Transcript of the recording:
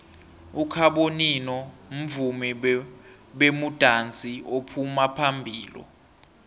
ukhabonino mvumi bemudansi ophuma phambilo